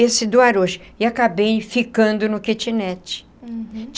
esse do Arouche e acabei ficando no kitnet. Uhum.